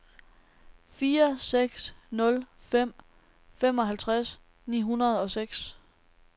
fire seks nul fem femoghalvtreds ni hundrede og seks